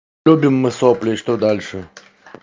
любим мы сопли и что дальше